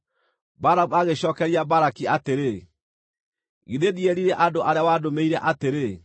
Balamu agĩcookeria Balaki atĩrĩ, “Githĩ ndierire andũ arĩa wandũmĩire atĩrĩ,